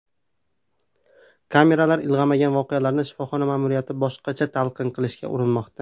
Kameralar ilg‘amagan voqealarni shifoxona ma’muriyati boshqacha talqin qilishga urinmoqda.